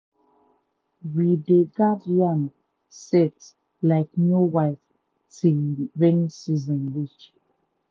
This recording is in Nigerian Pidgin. we dey guard yam sett like new wife till rain season reach.